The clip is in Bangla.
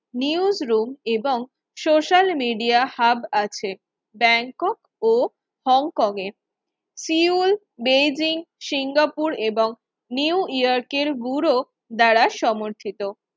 নিউজ রুম এবং সোশ্যাল মিডিয়া হাব আছে ব্যাংকক ও হংকং এর ফিউল বেইজিং সিঙ্গাপুর এবং নিউ ইয়র্কের ব্যুরো দ্বারা সমর্থিত